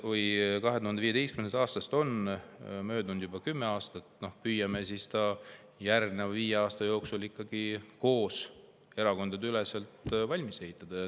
2015. aastast on möödunud juba kümme aastat, püüame selle siis järgmise viie aasta jooksul koos, erakondadeüleselt ikkagi valmis ehitada.